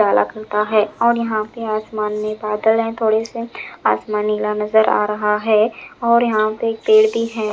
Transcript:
है और यहाँ पे आसमान में बादल हैं थोड़े से आसमान नीला नज़र आ रहा है और यहाँ पे पेड़ भी हैं।